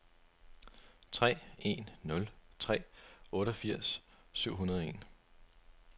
tre en nul tre otteogfirs syv hundrede og en